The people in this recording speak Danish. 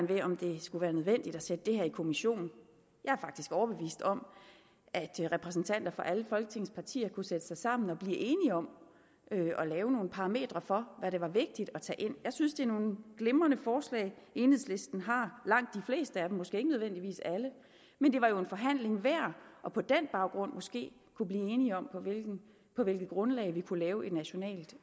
ved om det skulle være nødvendigt at sætte det her i kommission jeg er faktisk overbevist om at repræsentanter for alle folketingets partier kunne sætte sig sammen og blive enige om at lave nogle parametre for hvad det var vigtigt at tage ind jeg synes det er nogle glimrende forslag enhedslisten har langt de fleste af dem måske ikke nødvendigvis alle men det var jo en forhandling værd og på den baggrund måske blive enige om på hvilket grundlag vi kunne lave et nationalt